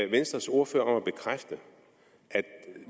venstres ordfører om at bekræfte at